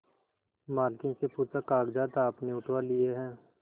मालकिन से पूछाकागजात आपने उठवा लिए हैं